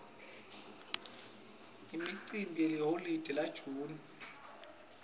imicimbi yeliholide la june